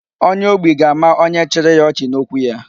Onye ogbi ga-ama onye chiri ya ọchị n'okwu ya.